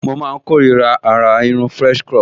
Mo máa n kórira àrà irun french crop